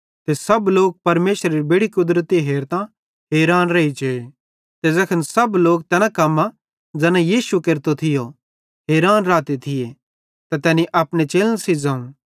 ते सब लोक परमेशरेरी बेड़ि कुदरती हेरतां हैरान रेइजे ते ज़ैखन सब लोक तैन कम्मां ज़ैन यीशु केरतो थियो हैरान रहते थिये त तैनी अपने चेलन सेइं ज़ोवं